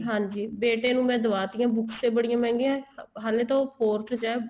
ਹਾਂਜੀ ਬੇਟੇ ਨੂੰ ਮੈਂ ਦਵਾਤੀਆਂ books ਏ ਬੜੀਆਂ ਮਹਿੰਗੀਆਂ ਹਲੇ ਤਾਂ ਉਹ fourth ਚ ਹੈ